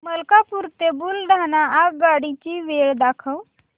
मलकापूर ते बुलढाणा आगगाडी ची वेळ दाखव